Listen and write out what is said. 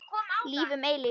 Líf um eilífð.